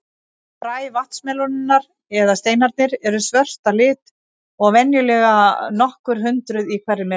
Fræ vatnsmelónunnar, eða steinarnir, eru svört að lit og venjulega nokkur hundruð í hverri melónu.